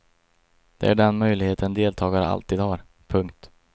Det är den möjlighet en deltagare alltid har. punkt